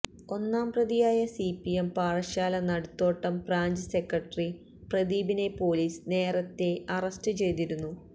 ഒന്നാം പ്രതിയായ CPM Parassala Naduthottam branch secretary പ്രദീപിനെ പൊലീസ് നേരത്തെ അറസ്റ്റ് ചെയ്തിരുന്നു